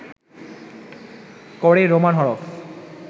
করে রোমান হরফ